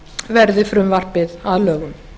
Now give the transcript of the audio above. verði frumvarpið að lögum